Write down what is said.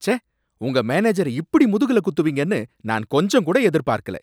ச்சே! உங்க மேனேஜர இப்படி முதுகுல குத்துவீங்கன்னு நான் கொஞ்சம் கூட எதிர்பார்க்கல